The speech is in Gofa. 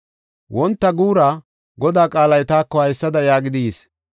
Wonta guura Godaa qaalay taako haysada yaagidi yis.